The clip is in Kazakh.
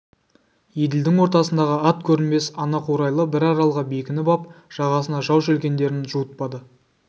еділдің ортасындағы ат көрінбес анақурайлы бір аралға бекініп ап жағасына жау желкендерін жуытпады